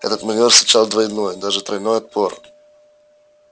этот манёвр встречал двойной даже тройной отпор